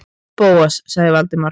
Bóas- sagði Valdimar.